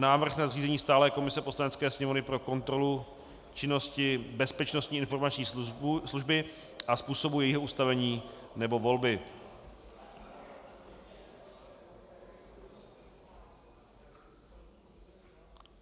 Návrh na zřízení stálé komise Poslanecké sněmovny pro kontrolu činnosti Bezpečnostní informační služby a způsobu jejího ustavení nebo volby